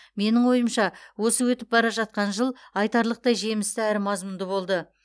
менің ойымша осы өтіп бара жатқан жыл айтарлықтай жемісті әрі мазмұнды болды